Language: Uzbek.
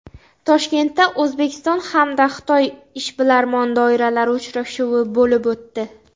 Toshkentda O‘zbekiston hamda Xitoy ishbilarmon doiralari uchrashuvi bo‘lib o‘tdi.